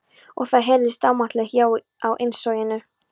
Og það heyrðist ámátlegt já á innsoginu.